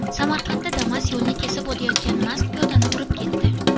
Samarqandda Damas yo‘lni kesib o‘tayotgan mast piyodani urib ketdi.